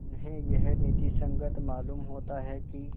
उन्हें यह नीति संगत मालूम होता है कि